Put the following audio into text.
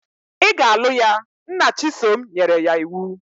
Ị ga-alụ ya! Nna Chisom nyere ya iwu.